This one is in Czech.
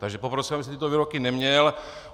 Takže poprosím, abyste tyto výroky neměl.